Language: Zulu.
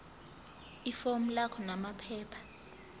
ifomu lakho namaphepha